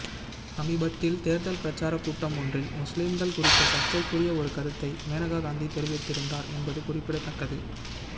சமீபத்தில் தேர்தல் பிரச்சார கூட்டம் ஒன்றில் முஸ்லீம்கள் குறித்து சர்ச்சைக்குரிய ஒரு கருத்தை மேனகா காந்தி தெரிவித்திருந்தார் என்பது குறிப்பிடத்தக்கது